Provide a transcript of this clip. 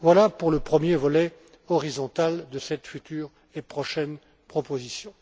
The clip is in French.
Voilà pour le premier volet horizontal de cette future et prochaine proposition.